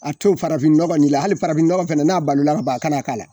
A to farafin nɔgɔ in ma hali farafinɔgɔ fana n'a balo la ka ban, ka n'a k'a la.